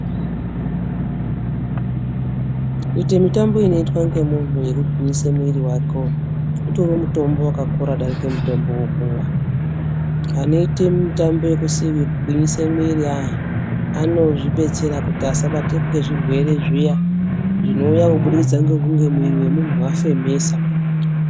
Kuite mitambo inoitwe ngemunhu mugwinyisa muwiri wako utori mutombo wakakura kudarike mutombo wekumwa. Anoite mitambo yekugwinyisa mwiri ayani anozvibetsera kuti asabatwe nezvirwere zviya zvinouya kubudikidza ngekunge muwiri wemunhu wafemesa